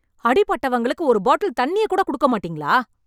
அடிபட்டவங்களுக்கு ஒரு பாட்டில் தண்ணியக்கூட குடுக்க மாட்டேங்களா...